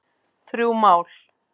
Þrjú mál